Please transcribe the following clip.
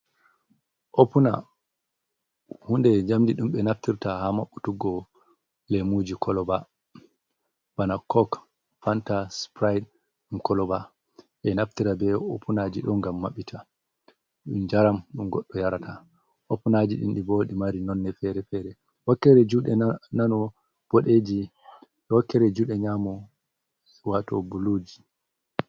Opuna hunde jamdi dumbe naftirta ha mabbutuggo lemuji koloba ,bana kok panta sprite dum koloba e naftirta be opunaji do ngam mabbita dum jaram dum goddo yarata opunaji dindi bodi mari nonne fere-fere wakkere jude nano bodeji e wakkere jude nyamu wato buluji.